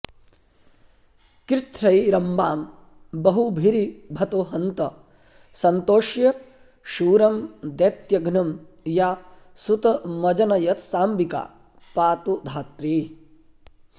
कृच्छ्रैरम्बां बहुभिरिभतो हन्त सन्तोष्य शूरं दैत्यघ्नं या सुतमजनयत्साम्बिका पातु धात्री